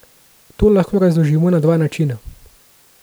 To lahko razložimo na dva načina.